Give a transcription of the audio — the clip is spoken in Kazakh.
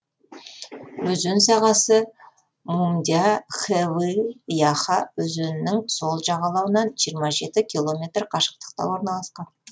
өзен сағасы мюмдя хэвы яха өзенінің сол жағалауынан жиырма жеті километр қашықтықта орналасқан